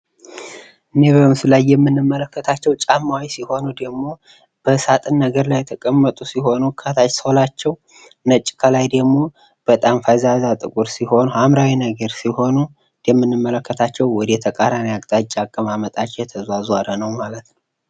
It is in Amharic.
እኒህ በምስሉ ላይ የምንመለከታቸው ጫማዎች ሲሆኑ ደግሞ በሳጥን ነገር ላይ የተቀመጡ ሲሆኑ ከላይ ሶላቸው ነጭ ከላይ ደግሞ በጣም ፈዛዛ ጥቁር ሲሆን ሐምራዊ ነገር ሲሆኑ እንደ ምንመለከታቸው ወደ ተቃራኒ አቅጣጫ አቀማመጣችው የተዟዟረ ነው ማለት ነው።